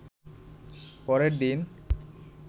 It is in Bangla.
পরের দিন